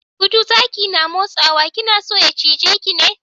Gudu zaki na matsowa, kina so ya cije ki?